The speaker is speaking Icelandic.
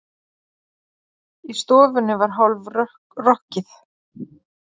Í stofunni var hálf- rokkið.